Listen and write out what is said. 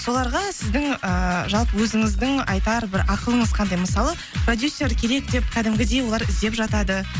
соларға сіздің ыыы жалпы өзіңіздің айтар бір ақылыңыз қандай мысалы продюсер керек деп кәдімгідей олар іздеп жатады